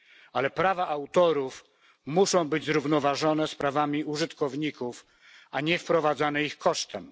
Ale prawa autorów muszą być zrównoważone z prawami użytkowników, a nie wprowadzane ich kosztem.